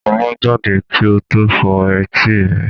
Sọlá jáde kí n tó fọ́ etí rẹ̀.